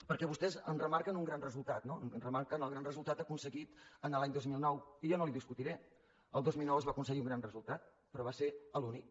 perquè vostès en remarquen un gran resultat no en remarquen el gran resultat aconseguit l’any dos mil nou que jo no li ho discutiré el dos mil nou es va aconseguir un gran resultat però va ser l’únic